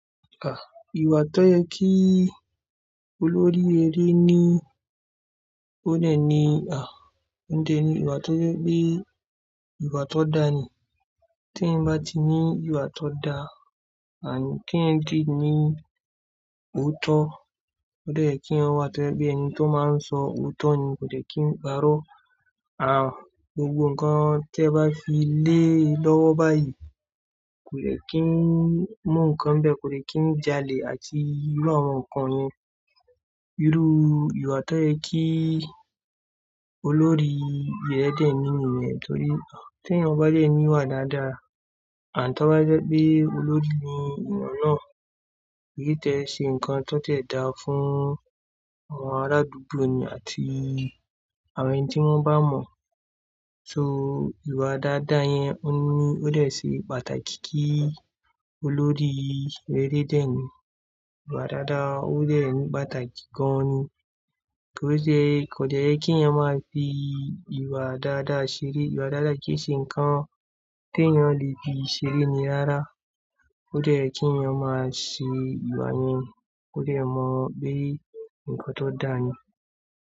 À, ìwà tó yẹ kí olórí eré ni ó dẹ̀ ní à ń jẹ ni ìwà tó yẹ pé ìwà tó da ni. Tí ẹ bá ti ní ìwà tó da, à kí ń dì ní òótọ́. Ó dẹ̀ kí ẹ wà tó ẹbí ẹni tó máa ń sọ òótọ́ ni, kò dẹ̀ kí ń parọ́. À gbogbo nǹkan tí ẹ bá fi lé lọ́wọ́ báyìí kò dẹ̀ kí ń mú nǹkan bẹ̀, kò dẹ̀ kí ń jalè àti irú àwọn nǹkan yẹn. Irú ìwà tó yẹ kí olórí eré dẹ̀ ní nìyẹn torí tí èyán ba dẹ́ ẹni wà dáadáa à tí wọ́n bá jẹ́ pé olórí ni ènìyàn náà, kì í tẹ́ ṣe nǹkan tó tẹ̀ dá fún àwọn arádúgbò ni àti àwọn ẹni tí wọ́n bá mọ̀. So ìwà dáadáa yẹn ó ní ó dẹ̀ ṣe pàtàkì kí olórí reré dẹ̀ ní. Ìwà dáadáa ó dẹ̀ ní pàtàkì gan ni. Kí ó dẹ̀ kò dẹ̀ yẹ kí iyan máa fi ìwà dáadáa ṣeré. Ìwà dáadáa kì í ṣe nǹkan tí èyán le fi ṣeré ni rará. Ó dẹ̀ kí iyan máa ṣè ìwà yẹn, ó dẹ̀ mọ̀ pé nǹkan tó da ni.